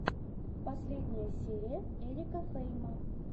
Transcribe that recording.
последняя серия эрика фейма